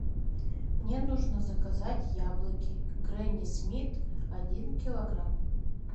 мне нужно заказать яблоки гренни смит один килограмм